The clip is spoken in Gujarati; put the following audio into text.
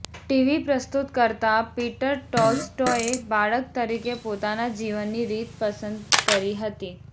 ટીવી પ્રસ્તુતકર્તા પીટર ટોલ્સટોયે બાળક તરીકે પોતાના જીવનની રીત પસંદ કરી હતી